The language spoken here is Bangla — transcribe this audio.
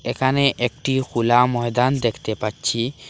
এখানে একটি খুলা ময়দান দেখতে পাচ্ছি।